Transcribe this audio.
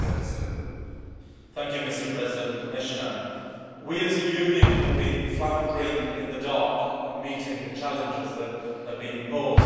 Mr President, we as a Union have been floundering in the dark in meeting the challenges that have been posed in this new Internet age.